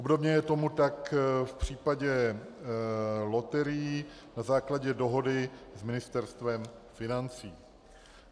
Obdobně je tomu tak v případě loterií na základě dohody s Ministerstvem financí.